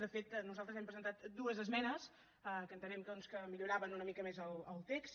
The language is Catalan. de fet nosaltres hem presentat dues esmenes que entenem que milloraven una mica més el text